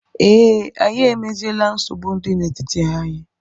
Ee, Anyị emeziela nsogbu dị n'etiti anyị